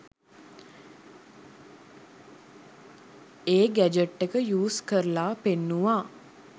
ඒ gadget එක use කරලා පෙන්නුවා.